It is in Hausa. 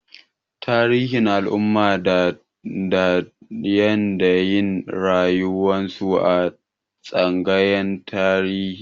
Ana koyar da tarihin al'umman da da yanayin rayuwarsu a tsangayar Tarihi.